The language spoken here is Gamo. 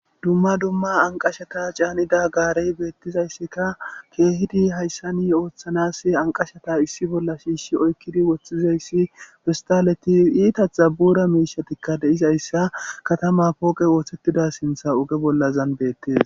dumma dumma anqashata caanida gaarey beettizayssika keehidi hayssani ooththanas anqashata issi bolla shiishi oykkidi woththizayssi fistaletaleti itatha bura miishatikka de'izayssa katama pooqe ooththettida sintha oge bollazan beettees